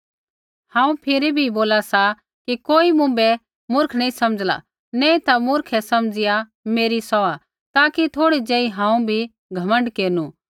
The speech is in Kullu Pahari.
हांऊँ फिरी भी बोला सा कि कोई मुँभै मुर्ख नैंई समझ़ला नैंई ता मुर्ख ही समझिया मेरी सौहा ताकि थोड़ा ज़ेही हांऊँ भी घमण्ड केरनु